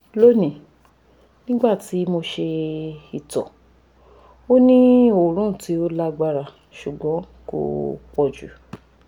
loni nigbati mo ṣe ito o ni oorun ti o lagbara ṣugbọn ko pọ ju